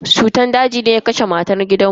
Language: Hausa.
Cutar daji ne ya kashe matan gidan mu.